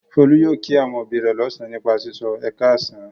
Folú yóò kí àwọn òbí rẹ̀ lọ́sàn-án nípa sísọ "ẹ káàsán".